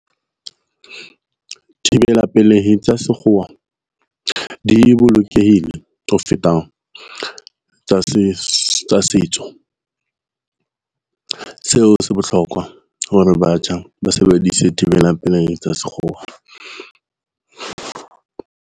Thibela pelehi tsa sekgowa di bolokehile ho feta tsa tsa setso. Seo se bohlokwa hore batjha ba sebedise thibelang pelehi tsa sekgowa.